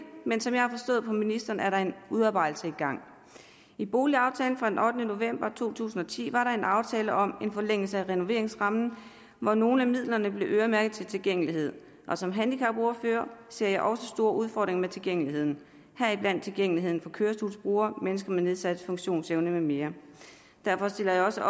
men som jeg har forstået på ministeren er den udarbejdelse i boligaftalen fra den ottende november to tusind og ti var der en aftale om en forlængelse af renoveringsrammen hvor nogle af midlerne blev øremærket til tilgængelighed som handicapordfører ser jeg også store udfordringer med tilgængeligheden heriblandt tilgængeligheden for kørestolsbrugere mennesker med nedsat funktionsevne med mere derfor stiller jeg også